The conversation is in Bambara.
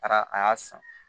A taara a y'a san